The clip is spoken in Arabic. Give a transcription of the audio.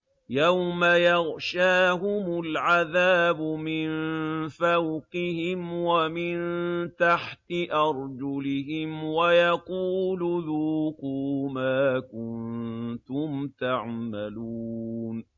يَوْمَ يَغْشَاهُمُ الْعَذَابُ مِن فَوْقِهِمْ وَمِن تَحْتِ أَرْجُلِهِمْ وَيَقُولُ ذُوقُوا مَا كُنتُمْ تَعْمَلُونَ